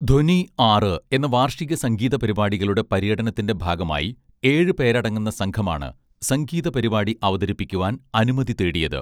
ധ്വനി ആറ് എന്ന വാർഷിക സംഗീത പരിപാടികളുടെ പര്യടനത്തിന്റെ ഭാഗമായി ഏഴ് പേരടങ്ങുന്ന സംഘമാണ് സംഗീത പരിപാടി അവതരിപ്പിക്കുവാൻ അനുമതി തേടിയത്